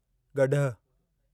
गॾहु